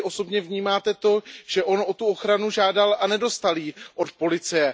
Jak Vy osobně vnímáte to, že on o tu ochranu žádal a nedostal ji od policie?